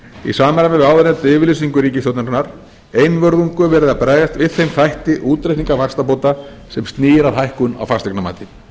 í samræmi við áðurnefnda yfirlýsingu ríkisstjórnarinnar einvörðungu verið að bregðast við þeim þætti útreikninga vaxtabóta sem snýr að hækkun á fasteignamati